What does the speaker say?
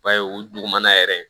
Ba ye o dugumana yɛrɛ